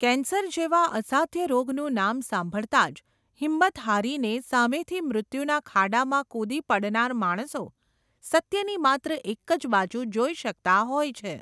cancer જેવા અસાધ્ય રોગનું નામ સાંભળતાંજ, હિંમત હારીને સામેથી મૃત્યુના ખાડામાં કૂદી પડનાર માણસો, સત્યની માત્ર એકજ બાજુ જોઈ શકતા હોય છે